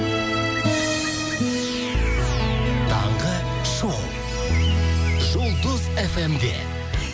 таңғы шоу жұлдыз эф эм де